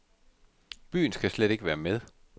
Byen skal slet ikke være med.